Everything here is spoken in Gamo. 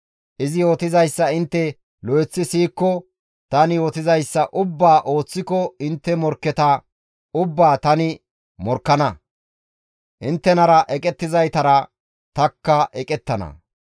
Izi yootizayssa intte lo7eththi siyikko, tani yootizayssa ubbaa ooththiko intte morkketa ubbaa tani morkkana; inttenara eqettizaytara tanikka eqettana.